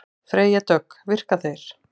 Freyja Dögg: Virka þeir?